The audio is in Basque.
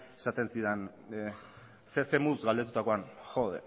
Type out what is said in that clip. esaten zidan zer moduz galdetutakoan jo